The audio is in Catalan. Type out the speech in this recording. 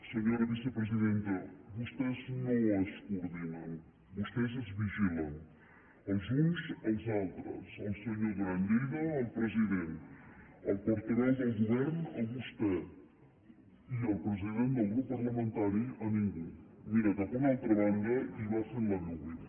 senyora vicepresidenta vostès no es coordinen vostès es vigilen els uns als altres el senyor duran i lleida al president el portaveu del govern a vostè i el president del grup parlamentari a ningú mira cap a una altra banda i va fent la viu viu